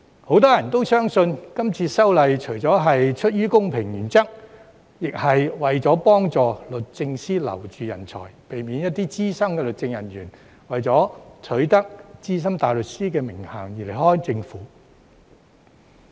很多人也相信，今次修例除了基於公平原則，亦是為了幫助律政司挽留人才，避免一些資深律政人員為取得資深大律師的名銜而離開政府。